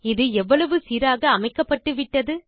இது எவ்வளவு சீராக அமைக்கப்பட்டுவிட்டது